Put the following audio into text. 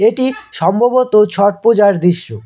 এটি সম্ভবত ছট পূজার দৃশ্য।